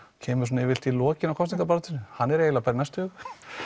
kemur svona yfirleitt í lokin á kosningabaráttunni hann er eiginlega bara í næstu viku